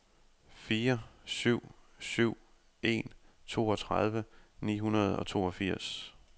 fire syv syv en toogtredive ni hundrede og toogfirs